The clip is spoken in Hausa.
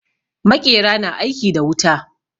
Maƙera na aiki da wuta.